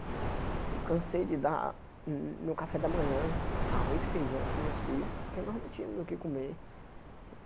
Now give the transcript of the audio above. Eu cansei de dar, no café da manhã, arroz e feijão para os meus filhos, porque nós não tínhamos o que comer.